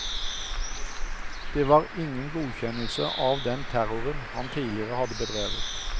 Den var ingen godkjennelse av den terroren han tidligere hadde bedrevet.